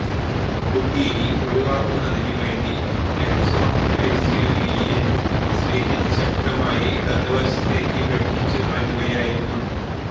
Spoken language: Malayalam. കൂട്ടിയിടി ഒഴിവാക്കുന്നതിന് വേണ്ടി നെക്സോണ് എസ്യുവിയെ ശ്രീജിത്ത് ശക്തമായി ഇടതു വശത്തേക്ക് വെട്ടിച്ചു മാറ്റുകയായിരുന്നു